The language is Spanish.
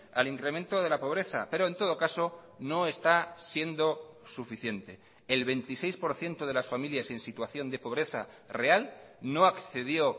al incremento de la pobreza pero en todo caso no está siendo suficiente el veintiséis por ciento de las familias en situación de pobreza real no accedió